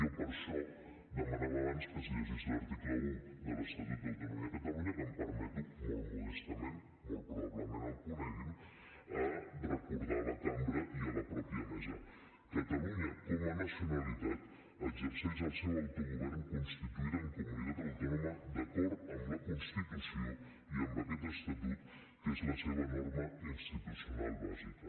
jo per això demanava abans que es llegís l’article un de l’estatut d’autonomia de catalunya que em permeto molt modestament molt probablement el coneguin recordar a la cambra i a la mateixa mesa catalunya com a nacionalitat exerceix el seu autogovern constituïda en comunitat autònoma d’acord amb la constitució i amb aquest estatut que és la seva norma institucional bàsica